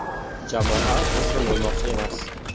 Jamoa taslim bo‘lmoqchi emas.